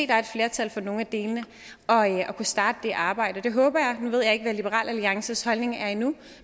der er et flertal for nogle af delene kan starte det arbejde det håber jeg nu ved jeg ikke hvad liberal alliances holdning er endnu